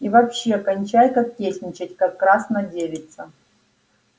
и вообще кончай кокетничать как красна девица